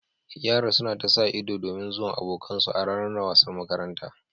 Yaran suna ta sa ido domin zuwan abokan su a ranar wasan makaranta